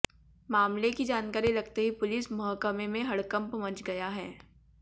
मामले की जानकारी लगते ही पुलिस महकमे में हड़कंप मच गया है